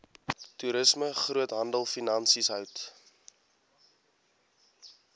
toerisme groothandelfinansies hout